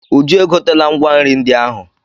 Uju e gotela ngwa nri ndị ahụ.